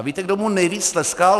A víte, kdo mu nejvíc tleskal?